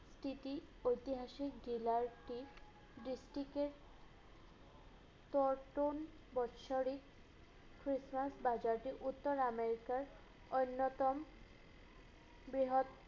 তিতি ঐতিহাসিক dealer টি district এর পর্টন বাৎসরিক christmas বাজারটি উত্তর america র অন্যতম বৃহৎ